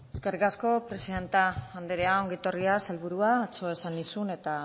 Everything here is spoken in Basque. eskerrik asko presidente andrea ongi etorria sailburua atzo esan nizuen eta